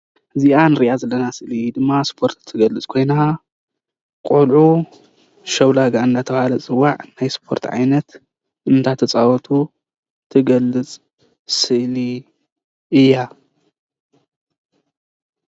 እዚኣ እንሪኣ ዘለና ምስሊ ድማ ስፖርት ኮይና ቆልዑ ሸው ላጋ እንዳተባሃለ ዝፅዋዕ ናይ ስፖርት ዓይነት እንዳተፃወቱ ትገልፅ ስእሊ እያ፡፡